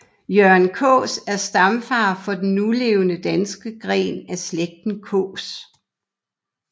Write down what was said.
Jørgen Kaas er stamfar for den nulevende danske gren af slægten Kaas